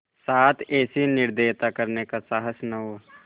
साथ ऐसी निर्दयता करने का साहस न हो